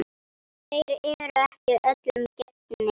Þeir eru ekki öllum gefnir.